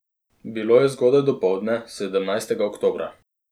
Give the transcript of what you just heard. Bilo je zgodaj dopoldne, sedemnajstega oktobra.